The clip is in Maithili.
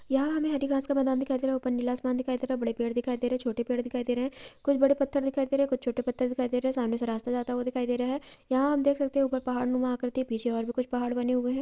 यह हमें आदिवासी का मैदान दिखाई दे रहा है| ऊपर नीला आसमान दिखाई दे रहा है| बड़े पेड़ दिखाई दे रहे हैं| छोटे पेड़ दिखाई दे रहे हैं| कुछ बड़े पत्थर दिखाई दे रहे हैं| कुछ छोटे पत्थर दिखाई दे रहे हैं| सामने से रास्ता जाता हुआ दिखाई दे रहा है| यहां हम देख सकते हैं पहाड़ नुमा आकृतियां पीछे और भी कुछ पहाड़ बने हुए हैं।